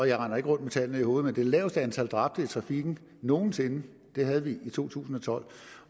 jeg render ikke rundt med tallene i hovedet men det laveste antal dræbte i trafikken nogensinde havde vi i to tusind og tolv